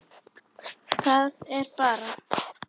Það er bara.